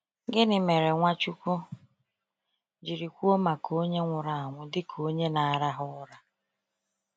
Gịnị mere Nwachukwu jiri kwuo maka onye nwụrụ anwụ dịka onye na ararụra?